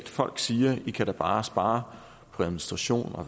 folk siger i kan da bare spare på administration og